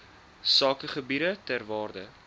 sakegebiede ter waarde